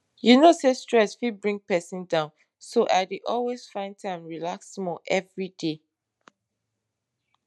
you know say stress fit bring persin down so i dey always find time relax small every day